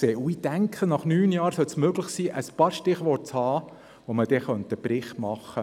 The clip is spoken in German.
Ich denke, nach neun Jahren sollte es möglich sein, ein paar Stichworte zu formulieren und einen Bericht zu verfassen.